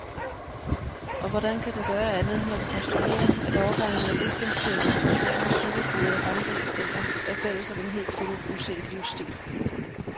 Og hvordan kan den gøre andet, når den postulerer, at årgangene af bistandsklienter, studerende, cykelbude og bankassistenter er fælles om en hidtil uset livsstil.